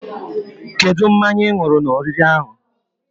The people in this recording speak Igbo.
Kedụ mmanya ị nwụrụ n'oriri ahụ?